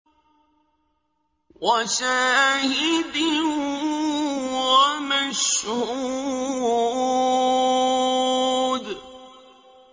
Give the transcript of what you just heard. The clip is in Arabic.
وَشَاهِدٍ وَمَشْهُودٍ